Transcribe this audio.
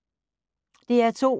DR2